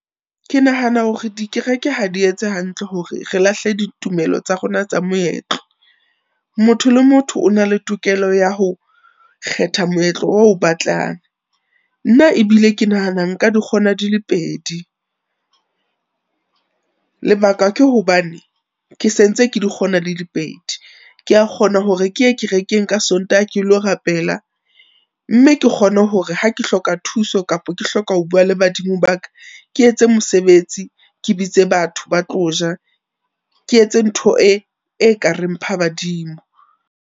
Ke nahana hore dikereke ha di etse hantle hore re lahle ditumelo tsa rona tsa moetlo. Motho le motho o na le tokelo ya ho kgetha moetlo o batlang. Nna ebile ke nahana nka di kgona di le pedi. Lebaka ke hobane ke sentse ke di kgona di le pedi, ke a kgona hore ke ye kerekeng ka Sontaha ke lo rapela mme ke kgone hore ha ke hloka thuso kapa ke hloka ho bua le badimo ba ka, ke etse mosebetsi ke bitse batho ba tlo ja. Ke etse ntho e ekareng phabadimo.